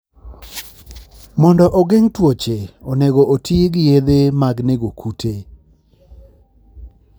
Mondo ogeng' tuoche, onego oti gi yedhe mag nego kute.